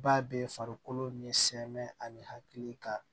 Ba bɛ farikolo ni sɛmɛ ani hakili ka